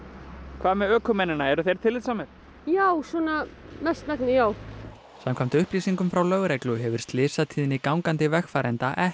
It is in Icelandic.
hvað með ökumennina eru þeir tillitssamir já svona mestmegnis samkvæmt upplýsingum frá lögreglu hefur slysatíðni gangandi vegfarenda ekki